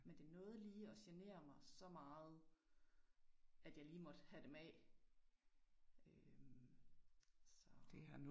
Men det nåede lige og genere mig så meget, at jeg lige måtte have dem af øh så